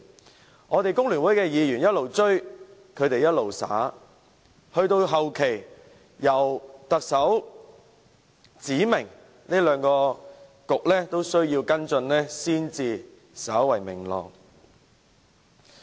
即使我們工聯會的議員不斷催促，兩個政策局仍不斷推卸，及至後期，特首指明兩個政策局都需要跟進，情況才稍為明朗。